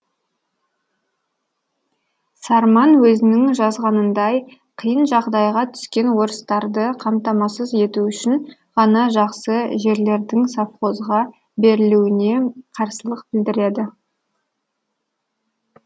сарман өзінің жазғанындай қиын жағдайға түскен орыстарды қамтамасыз ету үшін ғана жақсы жерлердің совхозға берілуіне қарсылық білдіреді